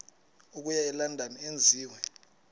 okuya elondon enziwe